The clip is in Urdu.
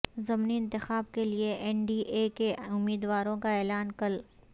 ضمنی انتخاب کے لئے این ڈی اے کے امیدواروں کا اعلان کل